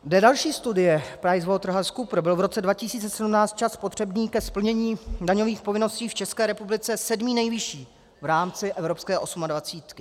Dle další studie PricewaterhouseCoopers byl v roce 2017 čas potřebný ke splnění daňových povinností v České republice sedmý nejvyšší v rámci evropské osmadvacítky.